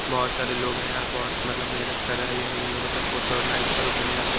बहोत सारे लोग है यहां बहोत मतलब मेहनत कर रहे हैं ये लोग इन लोगों को सपोर्ट करो लाइक करो बढ़िया से--